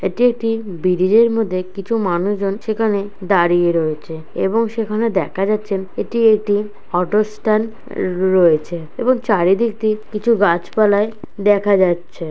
এটি একটি বিরিজের মধ্যে কিছু মানুষজন সেখানে দাঁড়িয়ে রয়েছে এবং সেখানে দেখা যাচ্ছেন এটি একটি অটো স্ট্যান্ড র-রয়েছে এবং চারিদিক দিক দিয়ে কিছু গাছপালায় দেখা যাচ্ছে।